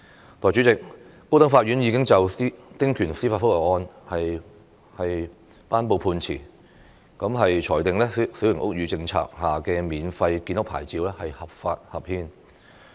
代理主席，高等法院已就丁權司法覆核案件頒布判詞，裁定小型屋宇政策下的免費建屋牌照合法合憲。